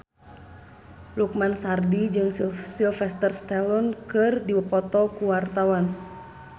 Lukman Sardi jeung Sylvester Stallone keur dipoto ku wartawan